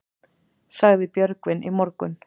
Sagði Björgvin í morgun.